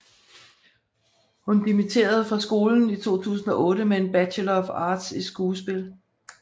Hun dimitterde fra skolen i 2008 med en bachelor of arts i skuespil